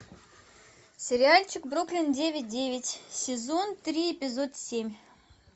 сериальчик бруклин девять девять сезон три эпизод семь